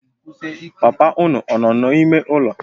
Papa unu ọ nọ na-ime ụlọ?